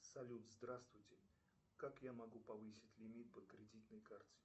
салют здравствуйте как я могу повысить лимит по кредитной карте